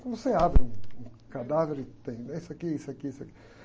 Como você abre um, um cadáver e tem isso aqui, isso aqui, isso aqui.